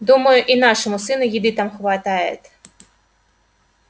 думаю и нашему сыну еды там хватает